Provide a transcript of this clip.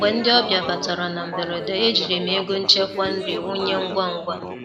Mgbe ndị ọbịa batara na mberede, ejiri m ego nchekwa nri wụnye ngwa ngwa.